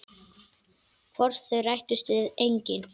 Hvort þau rættust veit enginn.